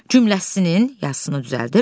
Cümləsinin yazısını düzəldir.